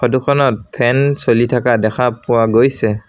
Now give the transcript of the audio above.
Photo খনত fan চলি থাকা দেখা পোৱা গৈছে।